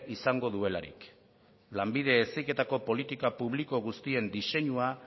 izango duelarik lanbide heziketako politika publiko guztiek diseinua